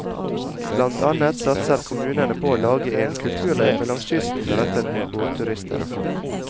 Blant annet satser kommunene på å lage en kulturløype langs kysten rettet mot båtturister.